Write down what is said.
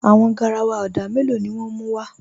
Àwọn gáràwà odà mẹ́lọ̀ ni wọn mú wa?